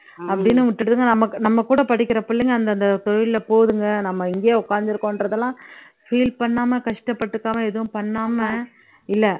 அப்படின்னு விட்டுடுதுங்க நம்ம நம்ம கூட படிக்கிற பிள்ளைங்க அந்தந்த தொழிலுல போகுதுங்க நம்ம இங்கேயே உக்காந்துருக்கோன்றது எல்லாம் feel பண்ணாம கஷ்டப்பட்டுக்காம எதுவும் பண்ணாம இல்ல